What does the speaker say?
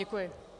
Děkuji.